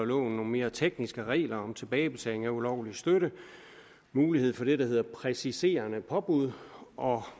nogle mere tekniske regler om tilbagebetaling af ulovlig støtte mulighed for det der hedder præciserende påbud